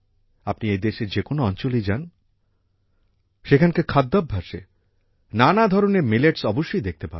আপনি এই দেশের যে কোনো অঞ্চলেই যান সেখানকার খাদ্যাভ্যাসে নানা ধরনের মিলেটস অবশ্যই দেখতে পাবেন